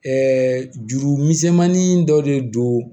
juru misɛnmanin dɔ de don